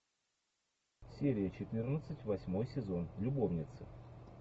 серия четырнадцать восьмой сезон любовницы